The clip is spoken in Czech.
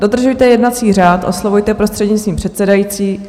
Dodržujte jednací řád, oslovujte prostřednictvím předsedající.